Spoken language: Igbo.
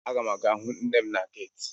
Aga m aga hụ nne m na geeti.